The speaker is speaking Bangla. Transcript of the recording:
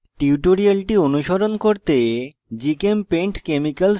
tutorial অনুসরণ করতে